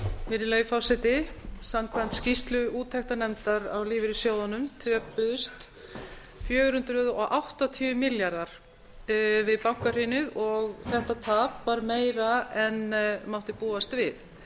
virðulegi forseti samkvæmt skýrslu úttektarnefndar á lífeyrissjóðunum töpuðust fjögur hundruð áttatíu milljarðar við bankahrunið og þetta tap varð meira en mátti búast við